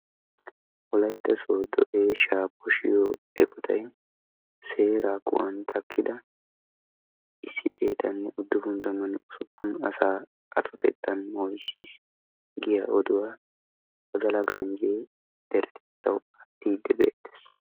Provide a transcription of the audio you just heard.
Wolaytta sooddo eeshahaa poshiyo eqotayu seeraa aquwan takkida issi xeetanne uddufun tammanne usuppun asaa atottan moyssis giyaa oduwa wodala ganjjee deretettawu aattiiddi beettes.